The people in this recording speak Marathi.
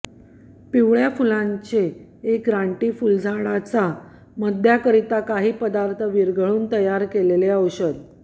पिवळ्य फुलांचे एक रानटी फुलझाड च्या मद्याकरिता काही पदार्थ विरघळवून तयार केलेले औषध